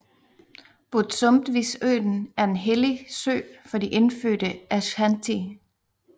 Bosumtwisøen er en hellig sø for de indfødte Ashanti